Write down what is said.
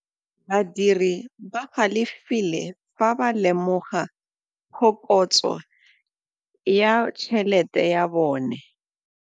Badiri ba galefile fa ba lemoga phokotsô ya tšhelête ya bone.